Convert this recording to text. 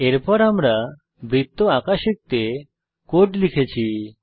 এরপর আমি বৃত্ত আঁকা শিখতে কোড লিখেছি